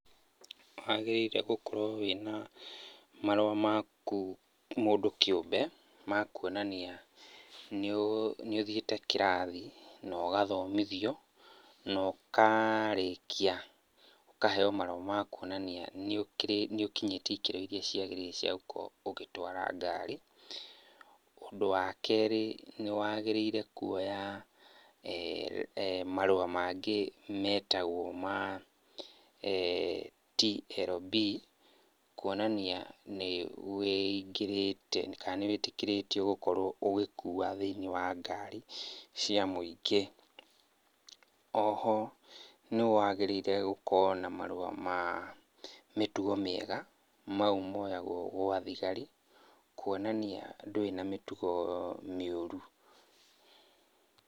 Nĩ wagĩrĩire gũkorwo wĩna marũa maku mũndũ kĩũmbe ma kwonania nĩũ, nĩ ũthiĩte kĩrathi no gathomithio no karĩkia, ũkaheo marũa ma kuonania nĩ ũkĩrĩtie, nĩ ũkinyĩtie ikĩro iria ciagĩrĩire cia gũkorwo ũgĩtwara ngari. Ũndũ wa kerĩ, nĩ wagĩrĩire kwoya marũa mangĩ metagwo ma TLB, kuonania nĩ wĩingĩrĩte, kana nĩ wĩtĩkĩrĩtio gũkorwo ũgĩkua thĩiniĩ wa ngari cia mũingĩ. Oho nĩ wagĩrĩire gũkorwo na marũa ma mĩtugo mĩega, mau moyagwo gwa thigari, kuonania ndũrĩ na mĩtugo mĩũru.